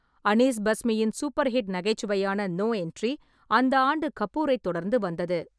அனீஸ் பாஸ்மியின் super hit நகைச்சுவையான No Entry, அந்த ஆண்டு கபூரைத் தொடர்ந்து வந்தது.